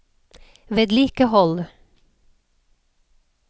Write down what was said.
vedlikehold